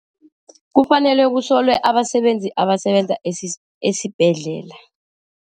Kufanele kusolwe abasebenzi abasebenza esibhedlela.